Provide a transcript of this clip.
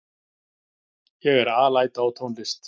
Ég er alæta á tónlist.